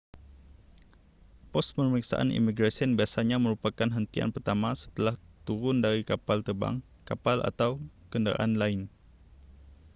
pos pemeriksaan imigresen biasanya merupakan hentian pertama setelah turun dari kapal terbang kapal atau kenderaan lain